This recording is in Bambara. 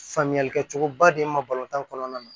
Faamuyali kɛcogoba de ma balontan kɔnɔna na